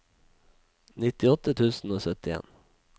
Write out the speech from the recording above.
nittiåtte tusen og syttien